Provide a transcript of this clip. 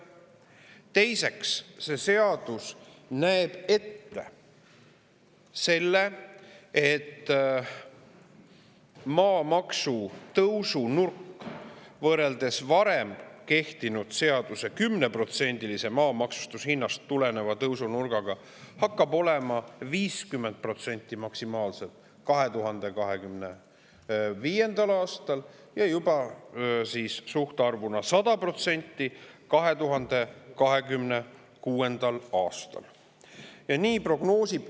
Teiseks, see näeb ette, et maamaksu tõusunurk hakkab võrreldes varem kehtinud seadusega, tulenedes oli tõusunurk 10% maa maksustamishinnast, olema 2025. aastal maksimaalselt 50% ja juba 2026. aastal suhtarvuna 100%.